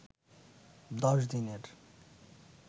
১০ দিনের